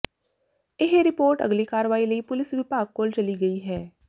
ਇਹ ਰਿਪੋਰਟ ਅਗਲੀ ਕਾਰਵਾਈ ਲਈ ਪੁਲੀਸ ਵਿਭਾਗ ਕੋਲ ਚਲੀ ਗਈ ਹੈ